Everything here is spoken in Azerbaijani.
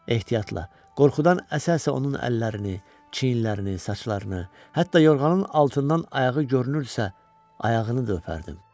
Ehtiyatla, qorxudan əsə-əsə onun əllərini, çiyinlərini, saçlarını, hətta yorğanın altından ayağı görünürdüsə, ayağını da öpərdim.